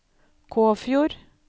Kåfjord